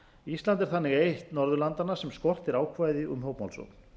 ísland er þannig eitt norðurlandanna sem skortir ákvæði um hópmálsókn